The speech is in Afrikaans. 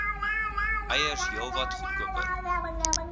eiers heelwat goedkoper